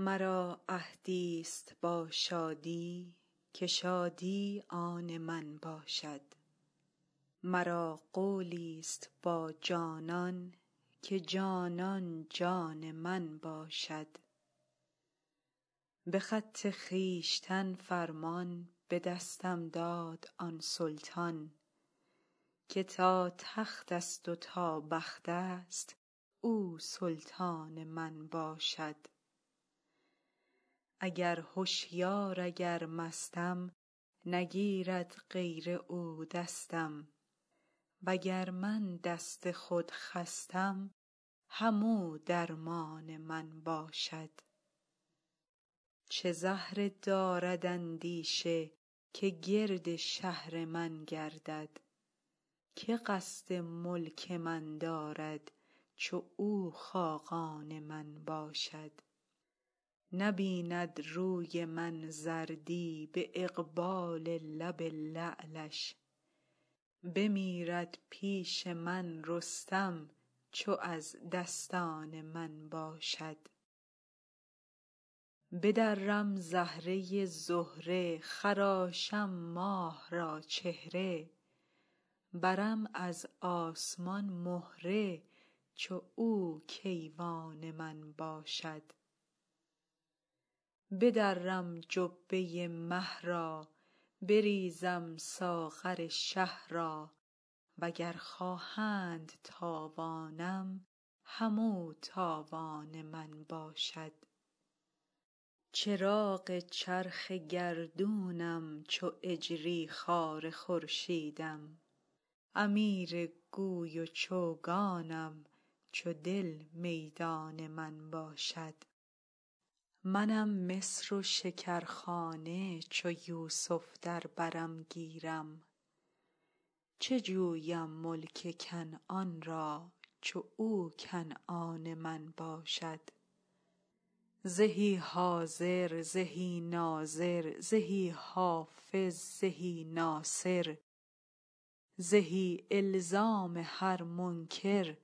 مرا عهدیست با شادی که شادی آن من باشد مرا قولیست با جانان که جانان جان من باشد به خط خویشتن فرمان به دستم داد آن سلطان که تا تختست و تا بختست او سلطان من باشد اگر هشیار اگر مستم نگیرد غیر او دستم وگر من دست خود خستم همو درمان من باشد چه زهره دارد اندیشه که گرد شهر من گردد که قصد ملک من دارد چو او خاقان من باشد نبیند روی من زردی به اقبال لب لعلش بمیرد پیش من رستم چو او دستان من باشد بدرم زهره زهره خراشم ماه را چهره برم از آسمان مهره چو او کیوان من باشد بدرم جبه مه را بریزم ساغر شه را وگر خواهند تاوانم همو تاوان من باشد چراغ چرخ گردونم چو اجری خوار خورشیدم امیر گوی و چوگانم چو دل میدان من باشد منم مصر و شکرخانه چو یوسف در برم گیرد چه جویم ملک کنعان را چو او کنعان من باشد زهی حاضر زهی ناظر زهی حافظ زهی ناصر زهی الزام هر منکر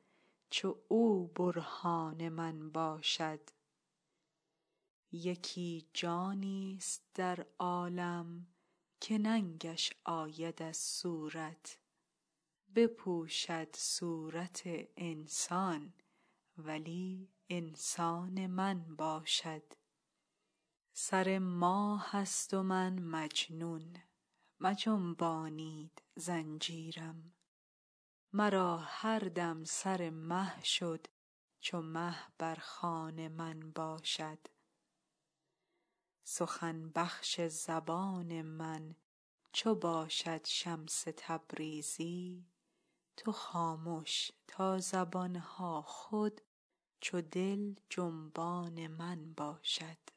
چو او برهان من باشد یکی جانیست در عالم که ننگش آید از صورت بپوشد صورت انسان ولی انسان من باشد سر ماهست و من مجنون مجنبانید زنجیرم مرا هر دم سر مه شد چو مه بر خوان من باشد سخن بخش زبان من چو باشد شمس تبریزی تو خامش تا زبان ها خود چو دل جنبان من باشد